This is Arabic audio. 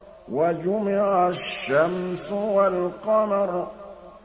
وَجُمِعَ الشَّمْسُ وَالْقَمَرُ